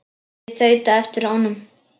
Ég þaut á eftir honum.